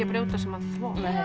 brjóta saman þvott